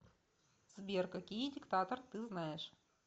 сбер какие диктатор ты знаешь